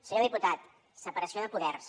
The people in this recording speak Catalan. senyor diputat separació de poders